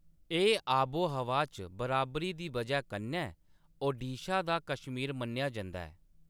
एह्‌‌ आबो-हवा च बराबरी दी वजह कन्नै ओडिशा दा कश्मीर मन्नेआ जंदा ऐ।